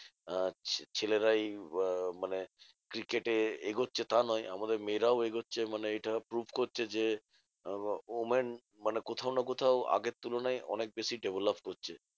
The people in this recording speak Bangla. আহ ছেলেরাই মানে cricket এ এগোচ্ছে। তা নয় আমাদের মেয়েরাও এগোচ্ছে মানে এটা prove করছে যে, women মানে কোথাও না কোথাও আগের তুলনায় অনেক বেশি develop করছে